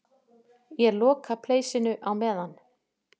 Ég loka pleisinu á meðan.